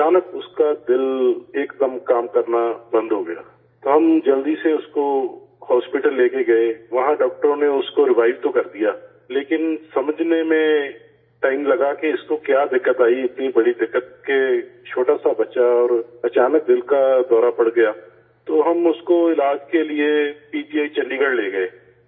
اچانک اس کا دل ایک دم کام کرنا بند ہو گیا، تو ہم جلدی سے اس کو اسپتال لے گئے، وہاں ڈاکٹروں نے اس کو ریوائیو تو کر دیا لیکن سمجھنے میں ٹائم لگا کہ اس کو کیا دقت آئی، اتنی بڑی دقت کہ چھوٹا سا بچہ اور اچانک دل کا دورہ پڑ گیا تو ہم اس کو علاج کے لیے P G I Chandigarh لے گئے